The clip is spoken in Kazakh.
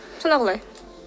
сонда қалай